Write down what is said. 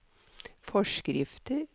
forskrifter